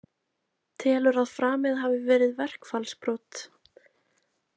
Telur að framið hafi verið verkfallsbrot